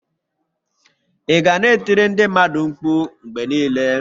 Ị ga na-e tiri ndị mmadụ mkpu mgbe niile?